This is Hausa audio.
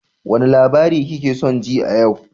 Wane labari kake son ji a yau?